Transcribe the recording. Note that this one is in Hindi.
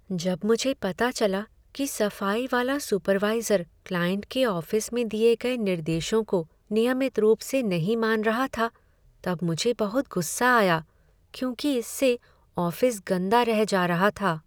जब मुझे पता चला कि सफाई वाला सुपरवाइज़र क्लाइंट के ऑफिस में दिये गए निर्देशों को नियमित रूप से नहीं मान रहा था तब मुझे बहुत गुस्सा आया क्योंकि इससे ऑफिस गंदा रह जा रहा था।